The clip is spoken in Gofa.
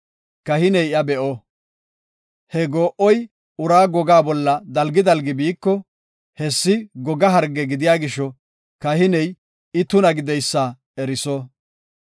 Kahiney iya be7o; he goo7oy uraa gogaa bolla dalgi dalgi biiko, hessi goga harge gidiya gisho kahiney I tuna gideysa eriso.